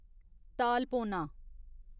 तालपोना